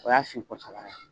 O y'a sigi ko sabanan ye.